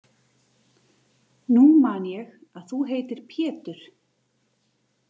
Nú man ég að þú heitir Pétur!